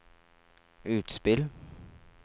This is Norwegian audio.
utspill